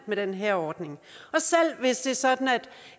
med den her ordning og selv hvis det er sådan at